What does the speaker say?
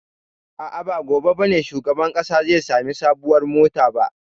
A'a, ba gobe ba ne shugaban ƙasa zai sami sabuwar mota ba.